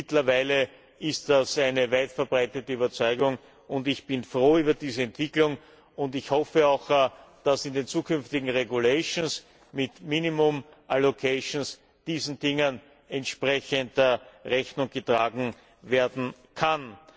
Mittlerweile ist das eine weitverbreitete Überzeugung, und ich bin froh über diese Entwicklung und hoffe, dass in den zukünftigen regulations mit minimum allocations diesen Dingen entsprechend Rechnung getragen werden kann.